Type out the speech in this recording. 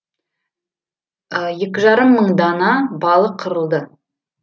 екі жарым мың дана балық қырылды